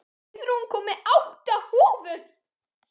Auðrún, ég kom með átta húfur!